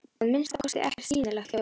Að minnsta kosti ekkert sýnilegt ljós.